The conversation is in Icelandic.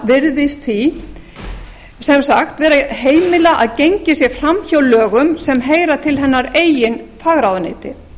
menntamálaráðherra virðist því sem sagt vera að heimila að gengið sé framhjá lögum sem heyra til hennar eigin fagráðuneyti